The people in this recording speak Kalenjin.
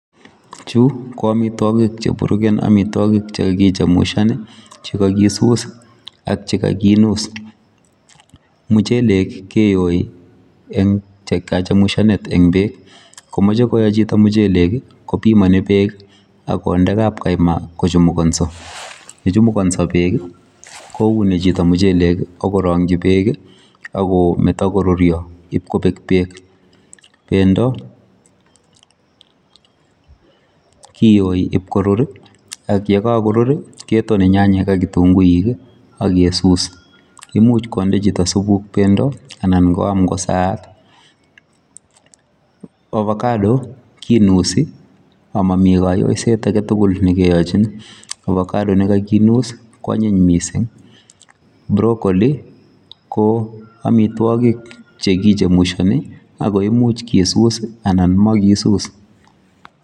Chu ko amitwokik cheburuken amitwokik chekakichamushan, chekakisus ak chekakinus. Muchelek keyoi eng kachamushanet eng beek. Komoche koyo chito muchelek, kopimoni beek ak konde kapkaima kochumukonso. Yechumukonso beek kouni chito muchelek akorong'chi beek akometo koruryo ipkobek beek. Pendo kiyoi ipkorur, ak yekakorur ketone nyanyek ak kitunguik akesus. Imuch konde chito supuk pendo anan koam kosaat. Ovacado kinusi amomi kayoiset aketugul nekeochin. Ovacado nekakinus kwanyiny mising. Brocolli ko amitwokik chekichomushoni ako imich kisus anan makisus.